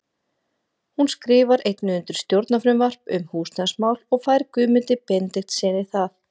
Hún skrifar einnig undir stjórnarfrumvarp um húsnæðismál og fær Guðmundi Benediktssyni það.